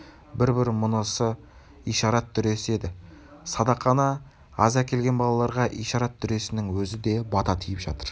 мұнысы ишарат дүресі еді садақаны аз әкелген балаларға ишарат дүресінің өзі де бата тиіп жатыр